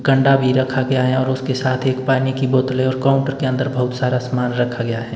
गंड्डा भी रखा गया है और उसके साथ एक पानी की बोतलें और काउंटर के अंदर बहुत सारा सामान रखा गया है।